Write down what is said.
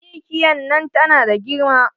Mikiya nan tana da girma.